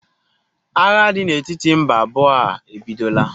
Agha dị n'etiti mba abụọ a ebidola?